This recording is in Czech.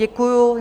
Děkuji.